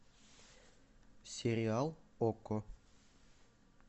сериал окко